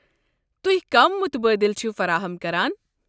تُہۍ كم مُتبٲدِل چھِو فراہم كران؟